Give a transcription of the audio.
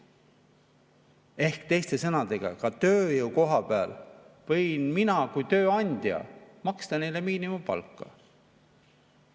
Ehk teiste sõnadega, ka tööjõu koha pealt võin mina kui tööandja maksta neile miinimumpalka.